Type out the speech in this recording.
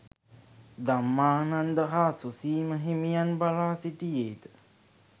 ධම්මානන්ද හා සුසීම හිමියන් බලා සිටියේද